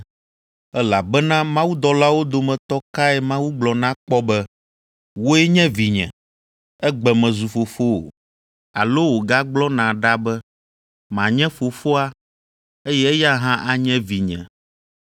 Elabena mawudɔlawo dometɔ kae Mawu gblɔ na kpɔ be, “Wòe nye vinye; egbe mezu Fofowò”? Alo wògagblɔ na ɖe be, “Manye fofoa, eye eya hã anye Vinye”?